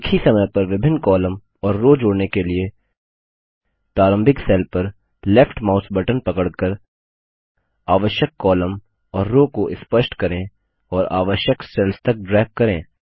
एक ही समय पर विभिन्न कॉलम और रो जोड़ने के लिए प्रारंभिक सेल पर लेफ्ट माउस बटन पकड़कर आवश्यक कॉलम और रो को स्पष्ट करें और आवश्यक सेल्स तक ड्रैग करें